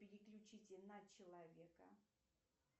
переключите на человека